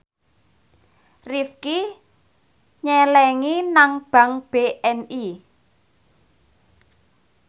Rifqi nyelengi nang bank BNI